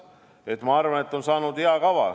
Samas ma arvan, et on saanud hea kava.